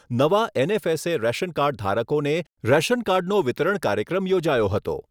નવા NFSA ration card ધારકોને રેશનકાર્ડનો વિતરણ કાર્યક્રમ યોજાયો હતો.